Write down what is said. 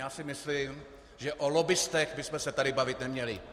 Já si myslím, že o lobbistech bychom se tady bavit neměli.